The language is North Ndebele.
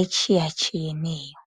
etshiyatshiyeneyo